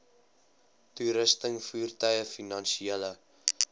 toerusting voertuie finansiële